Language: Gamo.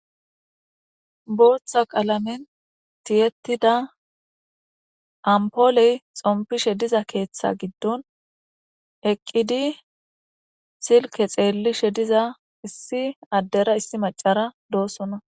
booththa qalamen tiyetida ampooley xompishe diza keeththa giddon eqqidi silke xeellishe diza issi addera issi macara doossona